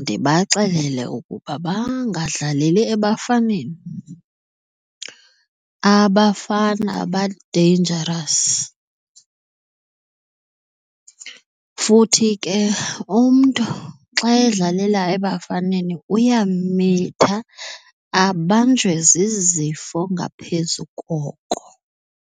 ndibaxelele ukuba bangadlaleli ebafaneni. Abafana ba-dangerous futhi ke umntu xa edlalela ebafaneni uyamitha abanjwe zizifo ngaphezu koko.